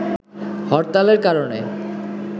হরতালের কারণে